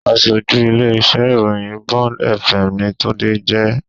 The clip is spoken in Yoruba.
Aṣojú ilé-iṣẹ́ ìròyìn Bond fm ni Tunde jẹ́